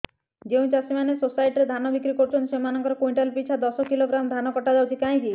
ଯେଉଁ ଚାଷୀ ମାନେ ସୋସାଇଟି ରେ ଧାନ ବିକ୍ରି କରୁଛନ୍ତି ସେମାନଙ୍କର କୁଇଣ୍ଟାଲ ପିଛା ଦଶ କିଲୋଗ୍ରାମ ଧାନ କଟା ଯାଉଛି କାହିଁକି